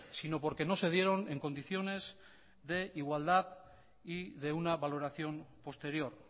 sino porque no se dieron en condiciones de igualdad y de una valoración posterior